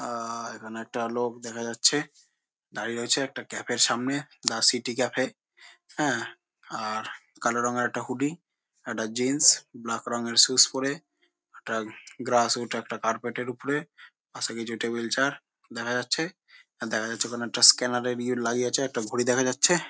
আ এখানে একটা লোক দেখা যাচ্ছে। দাঁড়িয়ে রয়েছে একটা কাফে এর সামনে। The city cafe. এ আর কালো রঙের একটা হুডি একটা জিন্স ব্ল্যাক রঙের সুস পরে একটা গ্রাস রুট একটা কার্পেট এর উপরে। পশে কিছু টেবিল চেয়ার দেখা যাচ্ছে। দেখা যাচ্ছে একটা স্ক্যানার এর ই লাগিয়েছে। একটা ঘড়ি দেখা যাচ্ছে।